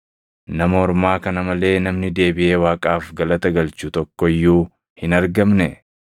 Nama ormaa kana malee namni deebiʼee Waaqaaf galata galchu tokko iyyuu hin argamnee?”